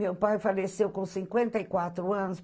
Meu pai faleceu com cinquenta e quatro anos.